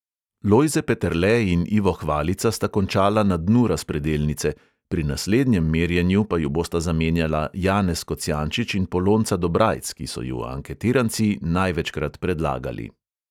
Lojze peterle in ivo hvalica sta končala na dnu razpredelnice, pri naslednjem merjenju pa ju bosta zamenjala janez kocijančič in polonca dobrajc, ki so ju anketiranci največkrat predlagali.